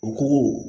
U ko ko